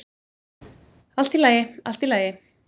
"""Allt í lagi, allt í lagi."""